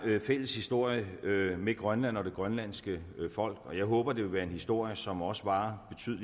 fælles historie med grønland og det grønlandske folk og jeg håber at det vil være en historie som også varer